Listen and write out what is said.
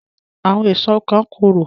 Àwọn èso kan korò